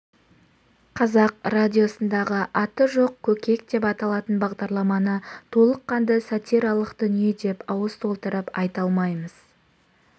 қазақ радиосындағы аты жоқ көкек деп аталатын бағдарламаны толыққанды сатиралық дүние деп ауыз толтырып айта алмаймыз